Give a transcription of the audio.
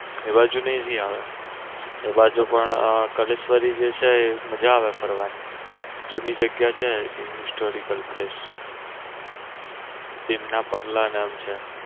એ બાજુ આયો એ બાજુ પણ કલેશ્વરી જે છે ને મજા આવે ફરવાની જૂની જગ્યા છે historical place ભીમ ના પગલાં નામ છે.